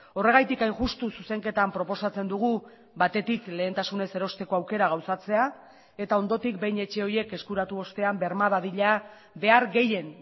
horregatik hain justu zuzenketan proposatzen dugu batetik lehentasunez erosteko aukera gauzatzea eta ondotik behin etxe horiek eskuratu ostean berma dadila behar gehien